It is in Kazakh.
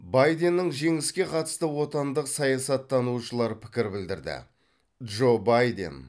байденнің жеңіске қатысты отандық саясаттанушылар пікір білдірді джо байден